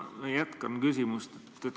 Ma jätkan küsimust.